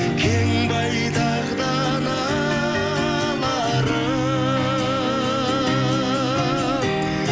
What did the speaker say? кең байтақ даналарым